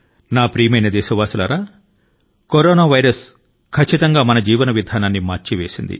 నా ప్రియమైన దేశవాసులారా కరోనా వైరస్ మన జీవన విధానాన్ని మార్చివేసింది